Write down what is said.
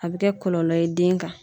A be kɛ kɔlɔlɔ ye den kan.